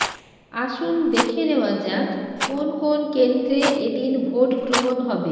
আসুন দেখে নেওয়া যাক কোন কোন কেন্দ্রে এদিন ভোটগ্রহণ হবে